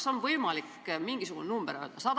Kas on võimalik mingisugune number öelda?